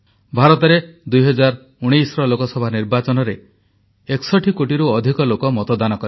ଭାରତରେ 2019ର ଲୋକସଭା ନିର୍ବାଚନରେ 61 କୋଟିରୁ ଅଧିକ ଲୋକ ମତଦାନ କଲେ